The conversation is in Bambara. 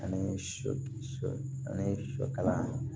Ani sɔ ani sɔ kalan